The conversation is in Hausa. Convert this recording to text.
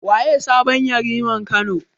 Waye sabon Yariman Kano?